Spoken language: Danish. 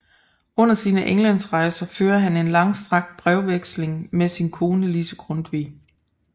Under sine Englandsrejser fører han en langstrakt brevveksling med sin kone Lise Grundtvig